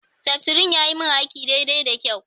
Seftrin yayi min aiki daidai da kyau.